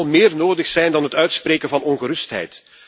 Er zal meer nodig zijn dan het uitspreken van ongerustheid.